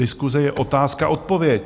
Diskuse je otázka - odpověď.